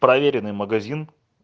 проверенный магазин